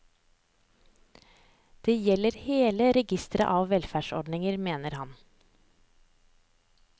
Det gjelder hele registeret av velferdsordninger, mener han.